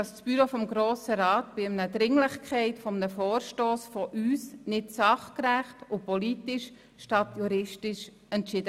Das Büro hat über die Dringlichkeit eines Vorstosses unserer Fraktion nicht sachgerecht und politisch statt juristisch entschieden.